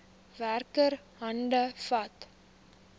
werker hande vat